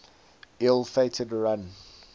ill fated run